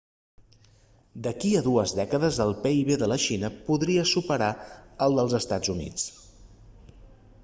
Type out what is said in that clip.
d'aquí a dues dècades el pib de la xina podria superar el dels estats units